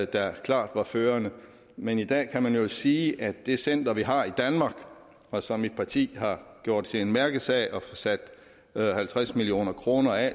der klart var førende men i dag kan man jo sige at det center vi har i danmark og som mit parti har gjort til en mærkesag at få sat halvtreds million kroner af